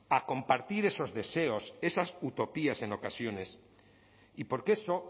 a compartir esos deseos esas utopías en ocasiones y porque eso